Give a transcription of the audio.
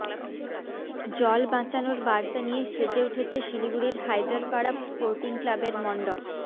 জল বাঁচানোর বার্তা নিয়ে সেজে উঠেছে শিলিগুড়ির হায়দরপাড়া স্পোর্টিং ক্লাবের মণ্ডপ